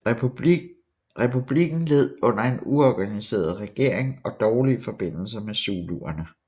Republikken led under en uorganiseret regering og dårlige forbindelser med zuluerne